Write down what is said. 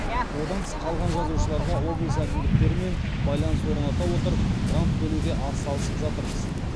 одан тыс қалған жазушыларға облыс әкімдіктерімен байланыс орната отырып грант бөлуге ат салысып жатырмыз